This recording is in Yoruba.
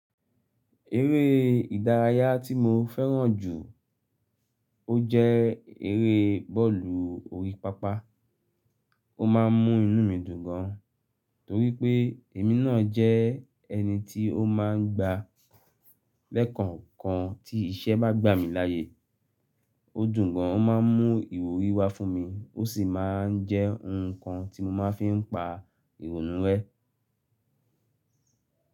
Eré ìdárayá tí mo fẹ́ràn jù ọ jẹ́ eré bọ́ọ̀lù orí pápá. Ó ma ń mú inú mi dùn gan, torí pé èmi náà jẹ́ ẹni tí ó máa ń gba lẹ́kànkan tí iṣẹ́ bá gbà mí láyé. Ó dùn gan, ó má ń mú ìwúrí wá fún mi ó sì má ń jẹ́ nǹkan tí mo má ń fi ń pa ìrónú rẹ́.